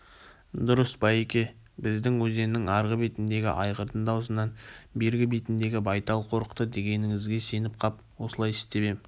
дұрыс байеке біздің өзеннің арғы бетіндегі айғырдың даусынан бергі бетіндегі байтал қорықты дегеніңізге сеніп қап осылай істеп ем